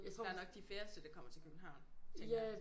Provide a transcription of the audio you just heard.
Der nok de færreste der kommer til København tænker jeg